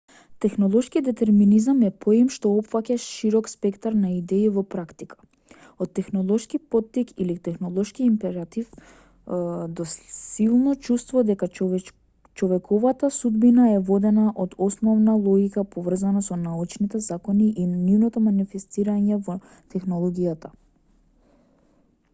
технолошки детерминизам е поим што опфаќа широк спектар на идеи во практика од технолошки поттик или технолошки императив до силно чувство дека човековата судбина е водена од основна логика поврзана со научните закони и нивното манифестирање во технологијата